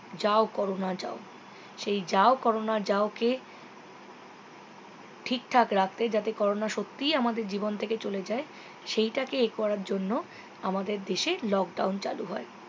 যাও করোনা যাও সেই যাও করোনা যাও কে ঠিক ঠাক রাখতে যাতে করোনা সত্যিই আমাদের জীবন থেকে চলে যায় সেই টাকে এ করার জন্য আমাদের দেশে lockdown চালু হয়